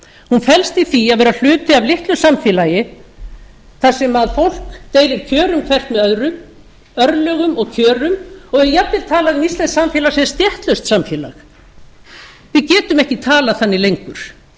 hún felst í því að vera hluti af litlu samfélagi þar sem fólk deilir kjörum hvert með öðru örlögum og kjörum og er jafnvel talað um íslenskt samfélag sem stéttlaust samfélag við getum ekki talað þannig lengur